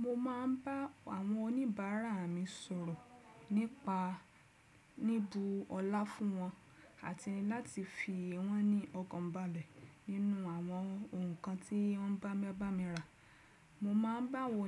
Mo máa ń bá àwọn oníbàárà mi sọ̀rọ̀ nípa níbu ọlá fún wọn àti láti fi wọ́n ní ọkànbalẹ̀ nínú àwọn ǹkan tí ń bá mi bá mi rà. Mo máa ń bá àwọn